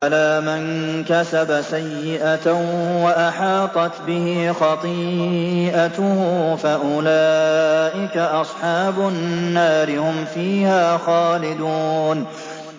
بَلَىٰ مَن كَسَبَ سَيِّئَةً وَأَحَاطَتْ بِهِ خَطِيئَتُهُ فَأُولَٰئِكَ أَصْحَابُ النَّارِ ۖ هُمْ فِيهَا خَالِدُونَ